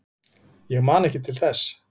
Ég man ekki til þess.